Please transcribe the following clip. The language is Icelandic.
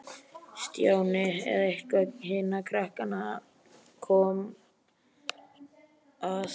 Stjáni eða eitthvert hinna krakkanna kom að.